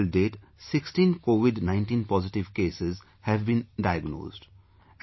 Here till date, 16 Covid 19 positive cases have been diagnosed